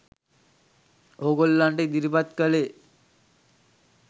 ඕගොල්ලන්ට ඉදිරිපත් කලේ.